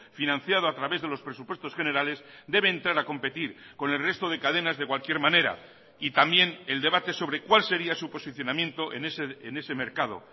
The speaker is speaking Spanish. financiado a través de los presupuestos generales debe entrar a competir con el resto de cadenas de cualquier manera y también el debate sobre cuál sería su posicionamiento en ese mercado